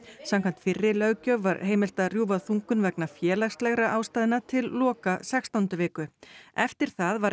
samkvæmt fyrri löggjöf var heimilt að rjúfa þungun vegna félagslegra ástæðna til loka sextándu viku eftir það var